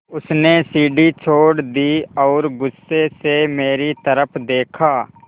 उसने सीढ़ी छोड़ दी और गुस्से से मेरी तरफ़ देखा